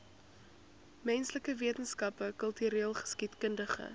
menslike wetenskappe kultureelgeskiedkundige